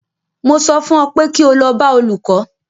Mo sọ fún ọ pé kí o lọ bá olùkó!